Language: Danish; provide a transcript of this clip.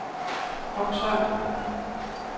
Oksvang